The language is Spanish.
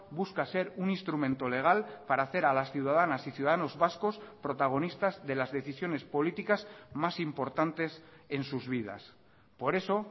busca ser un instrumento legal para hacer a las ciudadanas y ciudadanos vascos protagonistas de las decisiones políticas más importantes en sus vidas por eso